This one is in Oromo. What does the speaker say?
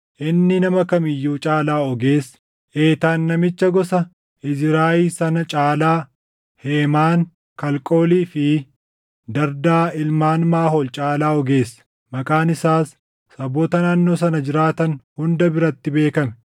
Inni nama kam iyyuu caalaa ogeessa; Eetaan namicha gosa Izraahi sana caalaa, Heemaan, Kalqoolii fi Dardaa ilmaan Maahool caalaa ogeessa. Maqaan isaas saboota naannoo sana jiraatan hunda biratti beekame.